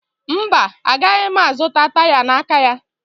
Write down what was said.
Mba, agaghị m azụta taya n'aka ya